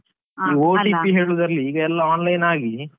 OTP ಹೇಳುದ್ರಲ್ಲಿ ಈಗ ಎಲ್ಲ online ಆಗಿ.